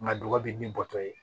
Nka dɔgɔ bi bɔ tɔ ye